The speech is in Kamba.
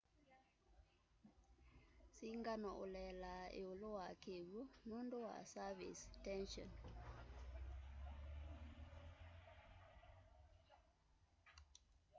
singano ulelaa iulu wa kiw'u nundu wa surface tension